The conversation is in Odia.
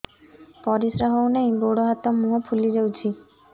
ପରିସ୍ରା ହଉ ନାହିଁ ଗୋଡ଼ ହାତ ମୁହଁ ଫୁଲି ଯାଉଛି